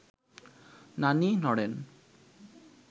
নানি নড়েন